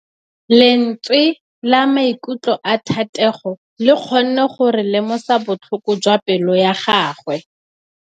Lentswe la maikutlo a Thategô le kgonne gore re lemosa botlhoko jwa pelô ya gagwe.